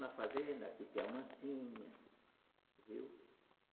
Na fazenda aqui tem a Mansinha, viu?